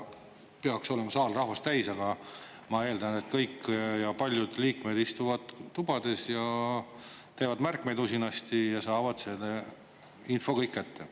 Peaks olema saal rahvast täis, aga ma eeldan, et kõik ja paljud liikmed istuvad tubades ja teevad märkmeid usinasti ja saavad selle info kõik kätte.